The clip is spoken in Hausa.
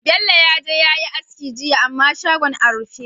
Bello yaje yayi aski jiya amma shagon a rufe